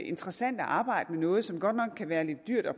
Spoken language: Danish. interessant at arbejde med noget som godt nok kan være lidt dyrt og